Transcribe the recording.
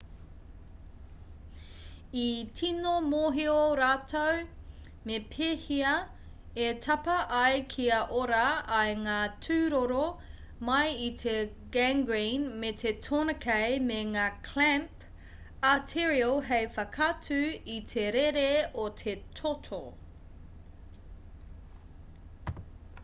i tīno mōhio rātou me pēhea e tapa ai kia ora ai ngā tūroro mai i te gangrene me te tourniquet me ngā clamp arterial hei whakatū i te rere o te toto